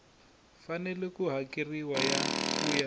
fanele ku hakeriwa ku ya